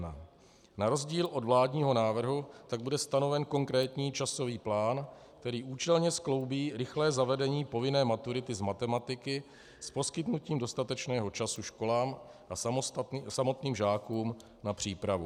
Na rozdíl od vládního návrhu tak bude stanoven konkrétní časový plán, který účelně skloubí rychlé zavedení povinné maturity z matematiky s poskytnutím dostatečného času školám a samotným žákům na přípravu.